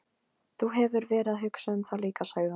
Þú hefur verið að hugsa um það líka, sagði hún.